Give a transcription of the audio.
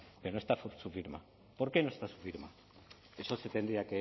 pero no está su firma por qué no está su firma eso se tendría